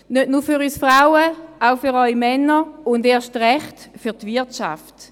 Nicht nur für uns Frauen, auch für die Männer, und erst recht für die Wirtschaft.